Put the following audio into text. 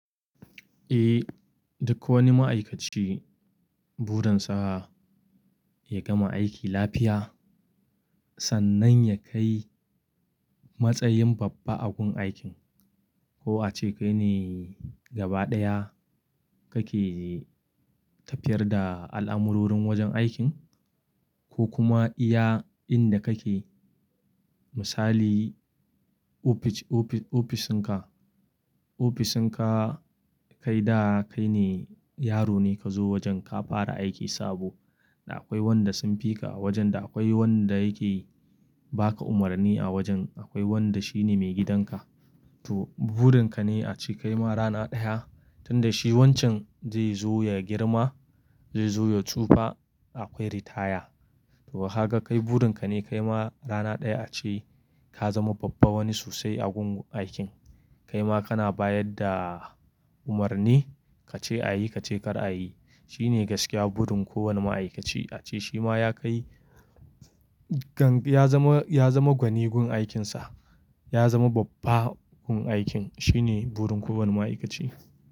Eh, duk wani ma'aikaci burinsa ya gama aiki lafiya sannan ya kai matsayin babba a gun aikin. Ko a ce kai ne gaba ɗaya kake tafiyar da al'amurorin wajen aikin ko kuma iya inda kake misali ofis, ofis, ofisinka. Ofisinka kai da kai ne yaro ne ka zo wajen ka fara aiki sabo da akwai wanda sun fi ka a wajen da akwai wanda yake ba ka umarni a wajen akwai wanda shine maigidanka. To burinka ne a ce kai ma rana ɗaya tun da shi wancan zai zo ya girma, zai zo ya tsufa akwai retire. To haka kai burinka ne kai ma rana ɗaya a ce ka zama babba wani sosai a gun aikin. Kai ma kana bayar da umarni ka ce a yi ka ce kar a yi. Shi ne gaskiya burin kowane ma'aikaci a ce shi ma ya kai-- ya zama, ya zama gwanin gun aikinsa, ya zama babba gun aikin. Shi ne burin kowane ma'aikaci.